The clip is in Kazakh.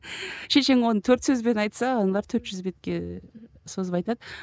шешең оны төрт сөзбен айтса аналар төрт жүз бетке созып айтады